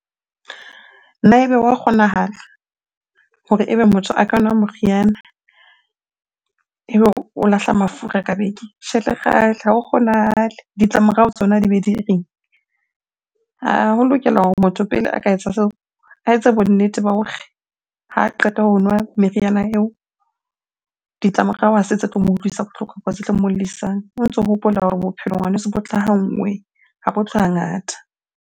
Na ebe wa kgonahala hore ebe motho a ka nwa moriana, ebe o lahla mafura ka beke? Tjhe lekgale, ha ho kgonahale. Ditlamorao tsona di be di reng? Ho lokela hore motho pele a ka etsa seo, a etse bonnete ba hore ha qeta ho nwa meriana eo. Ditlamorao ha se tse tlo mo utlwisa bohloko, tse tlo mo llisang. O ntso hopola hore bophelo ngwaneso bo tla ha nngwe, ha bo tle hangata.